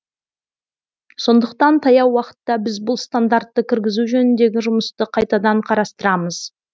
сондықтан таяу уақытта біз бұл стандартты кіргізу жөніндегі жұмысты қайтадан қарастырамыз